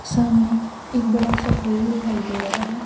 सामने एक बड़ा सा हॉल दिखाई दे रहा है।